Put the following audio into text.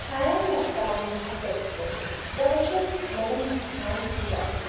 छायां मत्कां विधत्स्व प्रवचननमनध्यानपूजासु